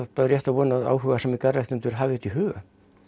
bara rétt að vona að áhugasamir hafi þetta í huga